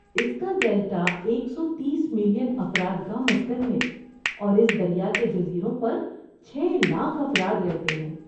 اس کا ڈیلٹا ایک سو تیس ملین افراد کا مسکن ہے اور اس دریا کے جزیروں پر چھے لاکھ افراد رہتے ہیں